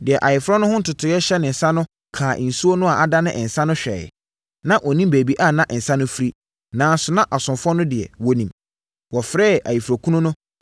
Deɛ ayeforɔ no ho ntotoeɛ hyɛ ne nsa no kaa nsuo no a adane nsã no hwɛeɛ. Na ɔnnim baabi a na nsã no firi, nanso na asomfoɔ no deɛ, wɔnim. Ɔfrɛɛ ayeforɔkunu no